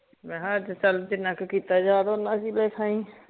ਮੈਂ ਕਿਹਾ ਚਲ ਜਿਨਾ ਕ ਕੀਤਾ ਜਾਵੇ ਊਨਾ ਹੀ ਲਿਖ ਆਈ